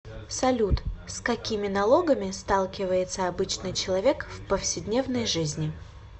салют с какими налогами сталкивается обычный человек в повседневной жизни